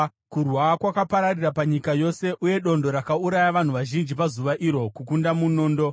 Kurwa kwakapararira panyika yose, uye dondo rakauraya vanhu vazhinji pazuva iro kukunda munondo.